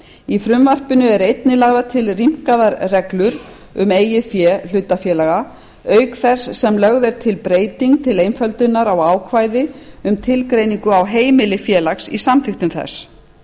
í frumvarpinu eru einnig lagðar til rýmkaðar reglur um eigið fé hlutafélaga auk þess sem lögð er til breyting til einföldunar á ákvæði um tilgreiningu á heimili félags í samþykktum þess